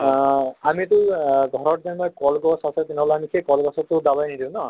আহ আমি টো আ ঘৰত যেনিবা কল গছ আছে তেনেহলে আমি সেই কল গছত টো দাৱাই নিদিওঁ ন?